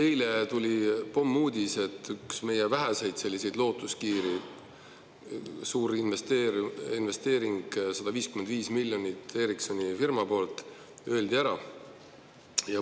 Eile tuli pommuudis, et üks meie väheseid lootuskiiri, suurinvesteering, 155 miljonit Ericssoni firma poolt, öeldi ära.